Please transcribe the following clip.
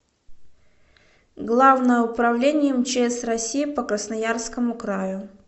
главное управление мчс россии по красноярскому краю